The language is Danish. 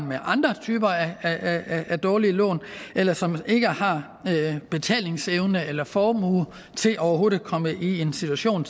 med andre typer af af dårlige lån eller som ikke har betalingsevne eller formue til overhovedet at komme i en situation